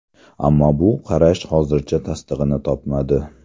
Ammo bu qarash hozircha tasdig‘ini topmadi.